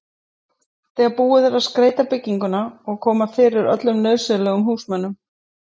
þegar búið er að skreyta bygginguna og koma fyrir öllum nauðsynlegum húsmunum.